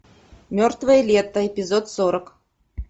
мертвое лето эпизод сорок